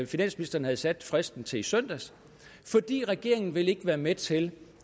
finansministeren havde sat fristen til i søndags fordi regeringen ikke vil være med til